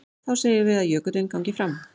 Þá segjum við að jökullinn gangi fram.